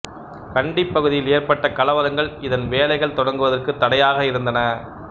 கண்டிப்பகுதியில் ஏற்பட்ட கலவரங்கள் இதன் வேலைகள் தொடங்குவதற்குத் தடையாக இருந்தன